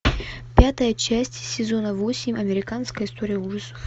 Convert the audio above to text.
пятая часть сезона восемь американская история ужасов